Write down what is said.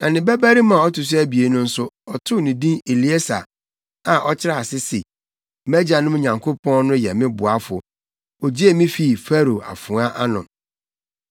Na ne babarima a ɔto so abien no nso, ɔtoo ne din Elieser a ɔkyerɛ ase se “Mʼagyanom Nyankopɔn no yɛ me boafo. Ogyee me fii Farao afoa ano.”